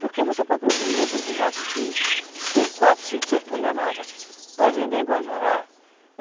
Porque você pode produzir hoje uma borracha aqui, ter quatro, cinco, seis toneladas, pode vender em Guajará.